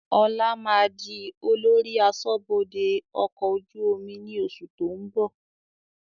Ọlá máa di olórí aṣọ́bodè ọkọ̀ ojú omi ni oṣù tó ń bọ̀